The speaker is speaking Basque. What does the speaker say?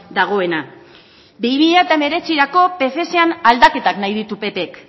dagoena bi mila hemeretzirako pfezan aldaketan nahi ditu ppk